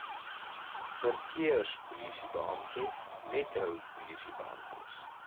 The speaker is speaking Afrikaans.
verkeerspolisiebeamptes metro polisiebeamptes